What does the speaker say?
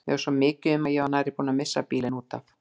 Mér varð svo mikið um að ég var nærri búin að missa bílinn út af.